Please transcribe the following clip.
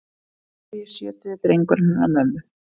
Sextugi, sjötugi drengurinn hennar mömmu.